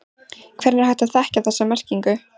Hvernig er hægt að þekkja þessa merkingu?